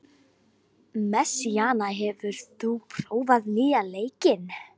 Messíana, hefur þú prófað nýja leikinn?